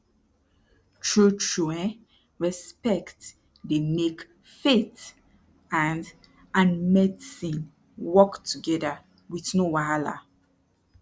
trutru um respect dey make faith and and medicine work together wit no wahala